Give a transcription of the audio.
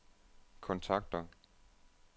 kontakter